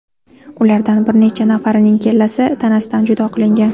Ulardan bir necha nafarining kallasi tanasidan judo qilingan.